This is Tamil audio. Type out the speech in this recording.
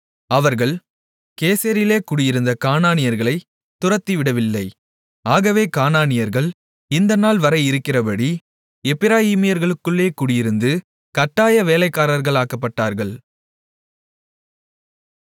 அவர்கள் கேசேரிலே குடியிருந்த கானானியர்களைத் துரத்திவிடவில்லை ஆகவே கானானியர்கள் இந்த நாள்வரை இருக்கிறபடி எப்பிராயீமர்களுக்குள்ளே குடியிருந்து கட்டாய வேலைக்காரர்களாக்கப்பட்டார்கள்